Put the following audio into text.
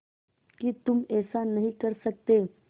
कि तुम ऐसा नहीं कर सकते